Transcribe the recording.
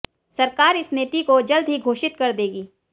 सरकार इस नीति को जल्दी ही घोषित कर देगी